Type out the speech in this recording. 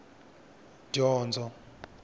dyondzo